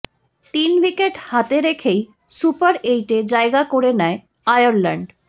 তিন উইকেট হাতে রেখেই সুপার এইটে জায়গা করে নেয় আয়ারল্যান্ড